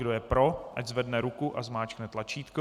Kdo je pro, ať zvedne ruku a zmáčkne tlačítko.